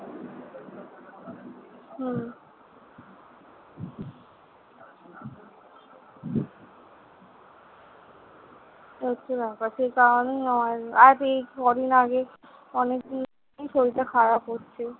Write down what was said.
এই হচ্ছে ব্যাপার। সেই কারণেই আর, আর এই কদিন আগে অনেকদিনই শরীরটা খারাপ হচ্ছে।